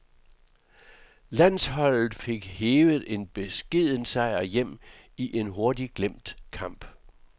Landsholdet fik hevet en beskeden sejr hjem i en hurtigt glemt kamp.